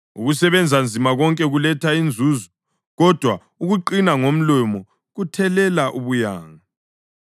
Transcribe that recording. Ukusebenza nzima konke kuletha inzuzo, kodwa ukuqina ngomlomo kuthelela ubuyanga.